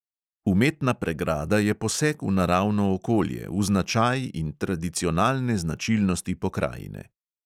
Umetna pregrada je poseg v naravno okolje, v značaj in tradicionalne značilnosti pokrajine.